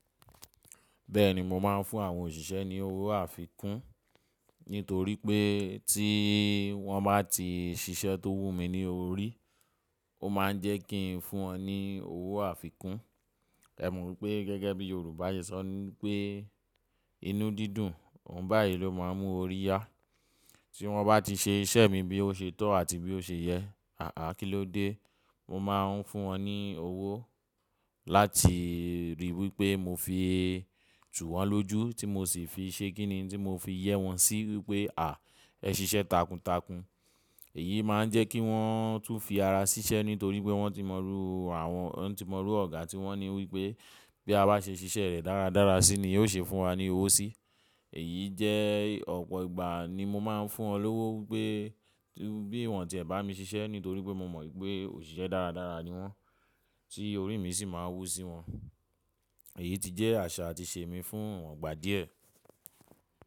Bẹ́ẹ̀ni, mo máa ń fún àwọn òṣìṣẹ́ ní owó àfikún nítorí pé tí wọ́n bá ti ṣiṣẹ́ tó wù mí ní orí, ó máa ń jẹ́ kí n fún wọn ní owó àfikún. Ẹ̀ mọ̀ wípé gẹ́gẹ́ bí Yorùbá ṣe sọ wípé “inú dídùn, òun báyìí ló máa ń mú orí yá”. Tí wọ́n bá ti ṣe iṣẹ́ mi bí ó ṣe tọ́ àti bí ó ṣe yẹ, àá kí ló dé? Mo máa ń fún wọn ní owó láti ríi wípé mo fi tù wọ́n lójú tí mo sì fi ṣe kíni tí mo fi yẹ́ wọn sí wípé “à, ẹ ṣiṣẹ́ takuntakun”. Èyí máa ń jẹ́ kí wọ́n tún fi ara ṣiṣẹ́ nítorí pé wọ́n ti mọrú àwọn, wọ́n ti mọrú Ọ̀gá tí wọ́n ní wípé “bí a bá ṣe ṣiṣẹ́ rẹ̀ dáradára sí ni yóò ṣe fún wa ní owó sí”. Èyí jẹ́ ọ̀pọ̀ ìgbà ni mo máa ń fún wọn lówó wípé bí wọ́n ti ẹ̀ bá mi ṣiṣẹ́ nítorí pé mo mọ̀ wípé òṣìṣẹ́ dáradára ni wọ́n, tí orí mi sì máa wú sí wọn. Èyí ti jẹ́ àṣà àti ìṣe mi fún ọliwoǹgbà díẹ̀.